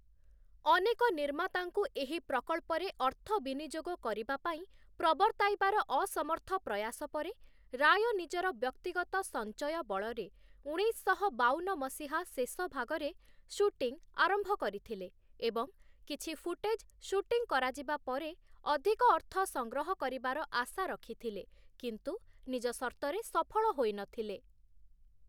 ଅନେକ ନିର୍ମାତାଙ୍କୁ ଏହି ପ୍ରକଳ୍ପରେ ଅର୍ଥ ବିନିଯୋଗ କରିବା ପାଇଁ ପ୍ରବର୍ତ୍ତାଇବାର ଅସମର୍ଥ ପ୍ରୟାସ ପରେ, ରାୟ ନିଜର ବ୍ୟକ୍ତିଗତ ସଂଚୟ ବଳରେ ଉଣେଇଶଶହ ବାଉନ ମସିହା ଶେଷ ଭାଗରେ ସୁଟିଂ ଆରମ୍ଭ କରିଥିଲେ ଏବଂ କିଛି ଫୁଟେଜ ସୁଟିଂ କରାଯିବା ପରେ ଅଧିକ ଅର୍ଥ ସଂଗ୍ରହ କରିବାର ଆଶା ରଖିଥିଲେ, କିନ୍ତୁ ନିଜ ସର୍ତ୍ତରେ ସଫଳ ହୋଇନଥିଲେ ।